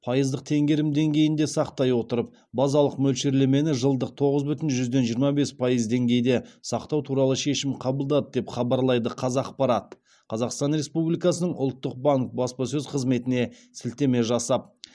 пайыздық тенгерім деңгейінде сақтай отырып базалық мөлшерлемені жылдық тоғыз бүтін жүзден жиырма бес пайыз деңгейде сақтау туралы шешім қабылдады деп хабарлайды қазақпарат қазақстан республикасының ұлттық банк баспасөз қызметіне сілтеме жасап